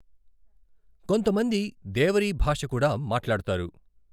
కొంతమంది దేవరీ భాష కూడా మాట్లాడతారు.